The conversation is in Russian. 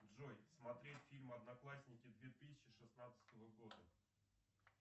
джой смотреть фильм одноклассники две тысячи шестнадцатого года